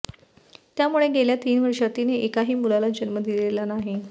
त्यामुळे गेल्या तीन वर्षात तिने एकाही मुलाला जन्म दिलेला नाही